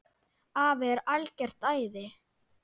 Afi er algert æði.